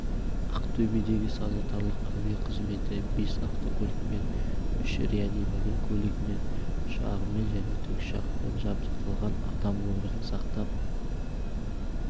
ақтөбедегі санитарлық әуе қызметі бес автокөлікпен үш реанимобиль көлігімен ұшағымен және тікұшақпен жабдықталған адам өмірін сақтап